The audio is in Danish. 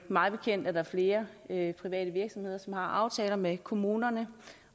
mig bekendt er der flere private virksomheder som har aftaler med kommuner